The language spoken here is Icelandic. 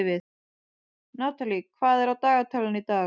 Natalie, hvað er á dagatalinu í dag?